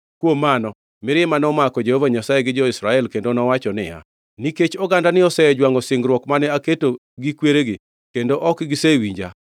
Kuom mano, mirima nomako Jehova Nyasaye gi jo-Israel kendo nowacho niya, “Nikech ogandani osejwangʼo singruok mane aketo gi kweregi kendo ok gisewinja,